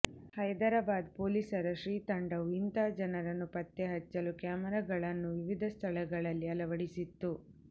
ಹೈದರಾಬಾದ್ ಪೊಲೀಸರ ಶೀ ತಂಡವು ಇಂತಹ ಜನರನ್ನು ಪತ್ತೆಹಚ್ಚಲು ಕ್ಯಾಮೆರಾಗಳನ್ನು ವಿವಿಧ ಸ್ಥಳಗಳಲ್ಲಿ ಅಳವಡಿಸಿತ್ತು